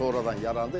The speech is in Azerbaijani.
Sonradan yarandı.